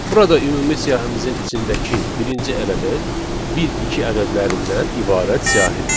Burada ümumi siyahımızın içindəki birinci element bir iki ədədlərindən ibarət siyahıdır.